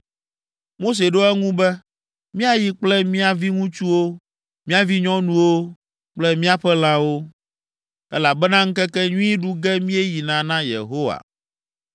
Mose ɖo eŋu be, “Míayi kple mía viŋutsuwo, mía vinyɔnuwo kple míaƒe lãwo, elabena ŋkekenyui ɖu ge míeyina na Yehowa.”